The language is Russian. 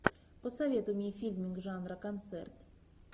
посоветуй мне фильмик жанра концерт